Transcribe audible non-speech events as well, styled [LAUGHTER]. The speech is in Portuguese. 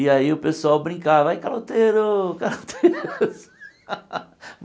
E aí o pessoal brincava, vai, caroteiro! [LAUGHS] caloteiros [LAUGHS]